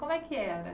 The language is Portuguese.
Como é que era?